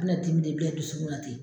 An bɛna dimi don bɛɛ dusukun na ten.